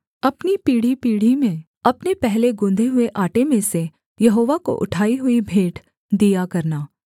अपनी पीढ़ीपीढ़ी में अपने पहले गुँधे हुए आटे में से यहोवा को उठाई हुई भेंट दिया करना